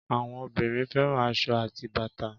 Àwọn obìnrin fẹ́ràn aṣọ àti bàtà